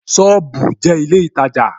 Sọ́ọ̀bù jẹ́ ilé ìtajà